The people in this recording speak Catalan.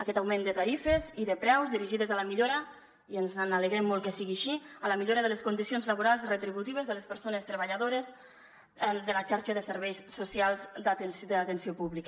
aquest augment de tarifes i de preus dirigides a la millora i ens alegrem molt que sigui així de les condicions laborals i retributives de les persones treballadores de la xarxa de serveis socials de l’atenció pública